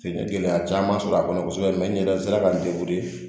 N ye gɛlɛya caman sɔrɔ a kɔnɔ kosɛbɛ mɛ n yɛrɛ sera ka n